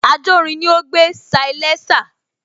Ajórin ni ó gbé salésà